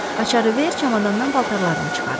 Açarı ver, çamadanından paltarlarını çıxarım.